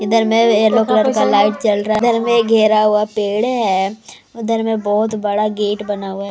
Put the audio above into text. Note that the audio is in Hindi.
इधर में एलो कलर का लाइट जल रहा है इधर में घेरा हुआ पेड़ है उधर में बहोत बड़ा गेट बना हुआ--